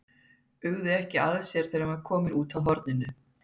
Uggði ekki að sér þegar hann var kominn út að horninu.